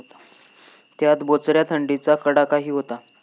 त्यात बोचऱ्या थंडीचा कडाकाही होता.